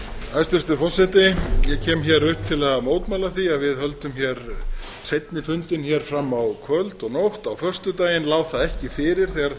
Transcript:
hæstvirtur forseti ég kem upp til að mótmæla því að við höldum seinni fundinn fram á kvöld og nótt á föstudaginn lá það ekki fyrir þegar